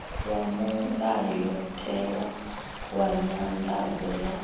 wa mulayotewa wa nyanḓadzo ya